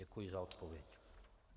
Děkuji za odpověď.